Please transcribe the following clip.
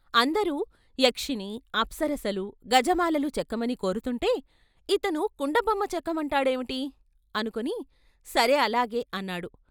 అందరూ యక్షిణి, అప్సరసలు, గజమాలలు చెక్కమని కోరుతుంటే ఇతను కుండ బొమ్మ చెక్కమంటాడేవిటి అనుకుని "సరే అలాగే" అన్నాడు.